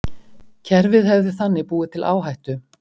Kerfið hefði þannig búið til áhættu